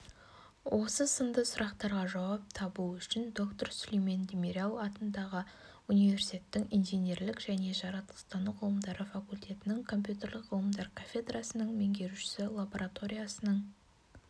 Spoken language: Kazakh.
осы сынды сұрақтарға жауап табу үшін доктор сүлейман демирел атындағы университеттің инженерлік және жаратылыстану ғылымдары факультетінің компьютерлік ғылымдар кафедрасының меңгерушісі лабораториясының